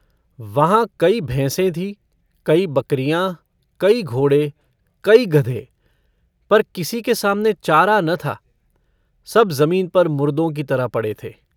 वहाँ कई भैंसें थीं, कई बकरियाँ, कई घोड़े, कई गधे पर किसी के सामने चारा न था, सब ज़मीन पर मुरदों की तरह पड़े थे।